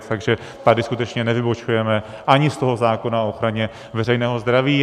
Takže tady skutečně nevybočujeme ani z toho zákona o ochraně veřejného zdraví.